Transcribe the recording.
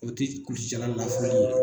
O tɛ kulusijala lafu